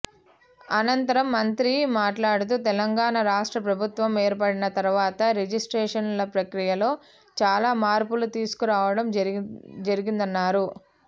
అనంతరం మంత్రి మా ట్లాడుతూ తెలంగాణ రాష్ట్ర ప్రభుత్వం ఏర్పాడిన తర్వాత రిజిస్ట్రేషన్ల ప్రక్రియలో చాలా మార్పులు తీసుకురావడం జరిగిందన్నారు